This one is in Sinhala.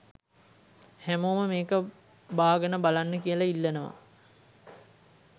හැමෝම මේක බාගනබලන්න කියලා ඉල්ලනවා